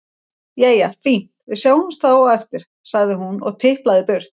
Jæja, fínt, við sjáumst þá á eftir, sagði hún og tiplaði burt.